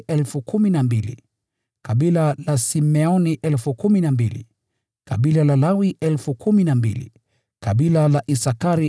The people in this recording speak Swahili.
kutoka kabila la Simeoni 12,000, kutoka kabila la Lawi 12,000, kutoka kabila la Isakari 12,000,